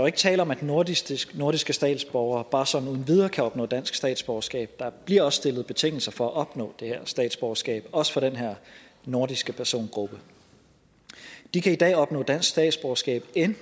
ikke tale om at nordiske nordiske statsborgere bare sådan uden videre kan opnå dansk statsborgerskab der bliver også stillet betingelser for at opnå det her statsborgerskab også for den her nordiske persongruppe de kan i dag opnå dansk statsborgerskab